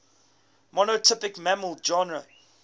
monotypic mammal genera